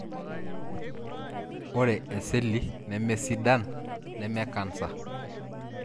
ore eseli lemesidan neme canser,